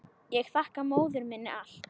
Ég þakka móður minni allt.